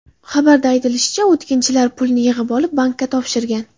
Xabarda aytilishicha, o‘tkinchilar pulni yig‘ib olib, bankka topshirgan.